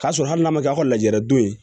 K'a sɔrɔ hali n'a ma kɛ aw ka lajara don ye